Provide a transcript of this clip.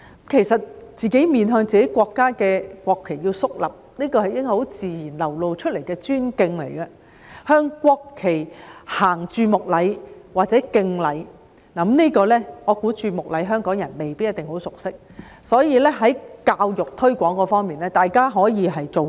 其實，自己在面向自己國家的國旗時要肅立，這應是很自然流露的尊敬，並向國旗行注目禮或敬禮；就此，我覺得香港人未必很熟悉注目禮，所以，在教育推廣方面，大家可以多下工夫。